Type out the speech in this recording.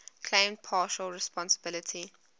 claimed partial responsibility